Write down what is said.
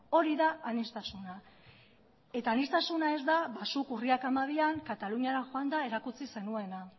hori da aniztasuna eta aniztasuna ez da zuk urriak hamabian kataluniara joanda erakutsi zenuena